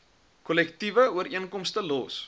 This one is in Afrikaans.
kollektiewe ooreenkomste los